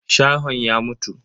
Shahon ya mutu.